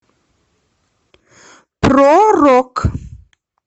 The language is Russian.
про рок